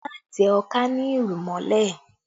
Má tẹ ọká ní irù mọ́lẹ̀